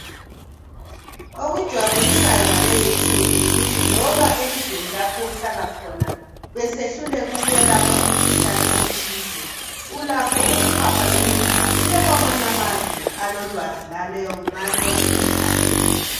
Qkujabulisayo ngalezi insuku yikuthi loba elizweni lapho ohlala khona besehluleka ukwelapha umkhuhlane othize ulakho ukuphapha ngendiza uye kwamanye amazwe alolwazi ngaleyo mkhuhlane.